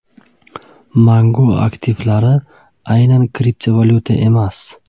Mangu aktivlari – aynan kriptovalyuta emas!